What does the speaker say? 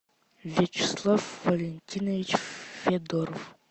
вячеслав валентинович федоров